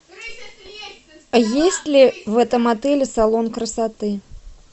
есть ли в этом отеле салон красоты